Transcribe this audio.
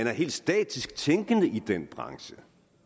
er helt statisk tænkende i den branche